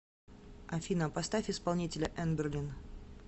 афина поставь исполнителя энберлин